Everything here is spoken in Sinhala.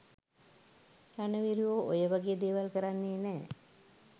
රණවිරුවෝ ඔය වගේ දේවල් කරන්නේ නෑ